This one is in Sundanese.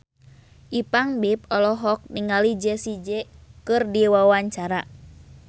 Ipank BIP olohok ningali Jessie J keur diwawancara